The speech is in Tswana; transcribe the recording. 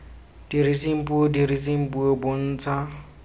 diriseng puo diriseng puo bontsha